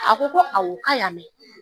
A ko ko awɔ k'a y'a mɛn